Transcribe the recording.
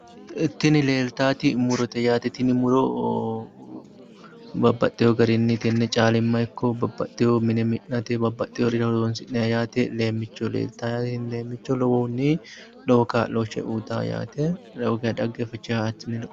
Tini leeltaati murote yaate. Tini muro babbaxxiwo garinni tenne caalimma ikko babbaxxiwo mine mi'nate babbaxxiworira horoonsi'nanni yaate. Leemmicho leeltawo yaate. Leemmicho lowohunni lowo kaa'lo uyitanno yaate.